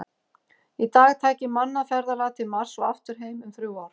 Í dag tæki mannað ferðalag til Mars og aftur heim um þrjú ár.